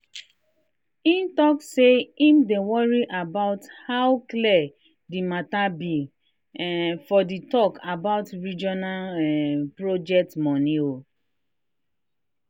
he talk say him dey worry about how clear the matter be um for the talk about regional um project money.